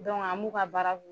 an b'u ka baara